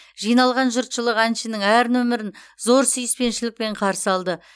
жиналған жұртшылық әншінің әр нөмірін зор сүйіспеншілікпен қарсы алды